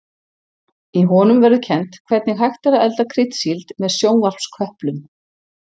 Í honum verður kennt hvernig hægt er að elda kryddsíld með sjónvarpsköplum.